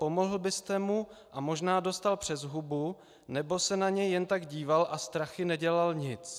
Pomohl byste mu a možná dostal přes hubu, nebo se na něj jen tak díval a strachy nedělal nic?